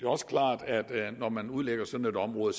også klart at når man udlægger sådan et område